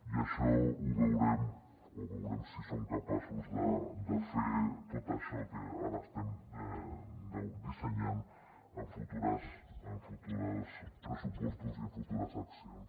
i això veurem si som capaços de fer tot això que ara estem dissenyant en futurs pressupostos i en futures accions